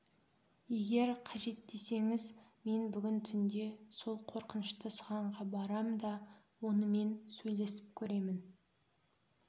егер қажет десеңіз мен бүгін түнде сол қорқынышты сығанға барам да онымен сөйлесіп көремін